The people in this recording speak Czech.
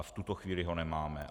A v tuto chvíli ho nemáme.